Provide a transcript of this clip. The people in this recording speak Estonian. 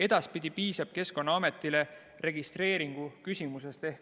Edaspidi piisab Keskkonnaametilt registreeringu küsimisest.